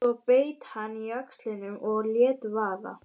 Svo beit hann á jaxlinn og lét vaða.